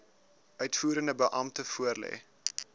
uitvoerende beampte voorlê